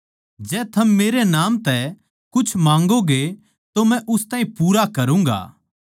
जै थम मेरै तै मेरै नाम तै कुछ माँगोगे तो मै उस ताहीं पूरा करूँगा